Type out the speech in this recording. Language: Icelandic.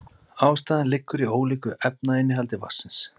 Ástæðan liggur í ólíku efnainnihaldi vatnsins.